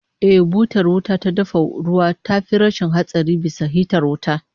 Eh, butar wuta ta dafa ruwa tafi rashin hatsari bisa hitar wuta